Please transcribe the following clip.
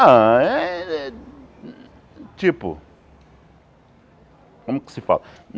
Ah, é é... Tipo... Como que se fala?